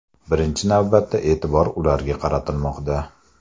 Birinchi navbatda e’tibor ularga qaratilmoqda.